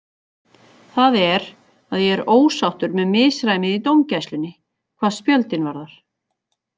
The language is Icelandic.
Það er, að ég er ósáttur með misræmið í dómgæslunni, hvað spjöldin varðar.